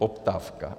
Poptávka.